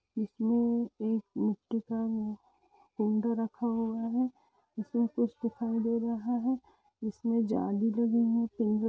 इसमें एक का झुंड रखा हुआ हैं इसमें कुछ दिखाई दे रहा है इसमें जाली लगी है पि --